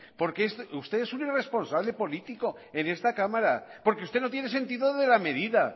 porque usted es un irresponsable político en esta cámara porque usted no tiene sentido de la medida